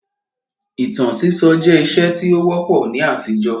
Ìtàn sísọ jẹ́ ìṣe tí ó wọ́pọ̀ ní àtijọ́